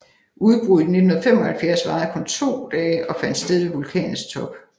Udbruddet i 1975 varede kun to dage og fandt sted ved vulkanens top